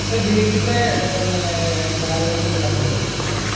A beach ൻറെ ഏർ കാര്യങ്ങളൊക്കെ ഒന്ന് പറഞ്ഞെരുവോ